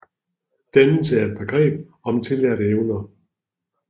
Dannelse er et begreb om tillærte evner